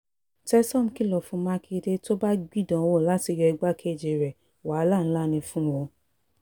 tesom kìlọ̀ fún mákindé tó o bá gbìdánwò láti yọ igbákejì rẹ wàhálà ńlá ni fún ọ